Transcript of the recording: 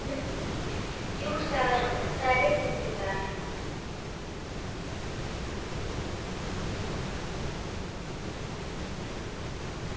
Jú, sagði hann, en það er rigning í dag.